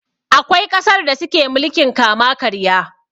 Akwai ƙasar da suke mulkin kama karya.